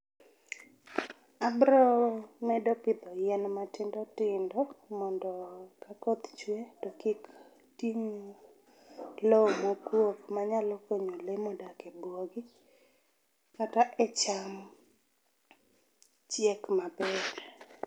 Abro medo pidho yien matindo tindo mondo koth chwe to kik ting' loo mokuok manyalo kunyo lee modak e buogi kata e cham chiek maber